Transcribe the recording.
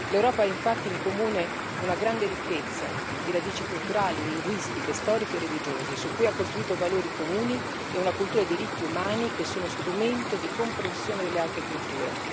L'Europa ha infatti in comune una grande ricchezza di radici culturali, linguistiche, storiche e religiose, su cui ha costruito valori comuni e una cultura dei diritti umani, che sono strumento di comprensione delle altre culture.